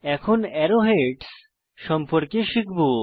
এখন আরো হেডস সম্পর্কে শিখব